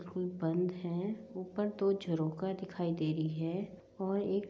बंद है ऊपर दो झरोखा दिखाई दे रही है और एक--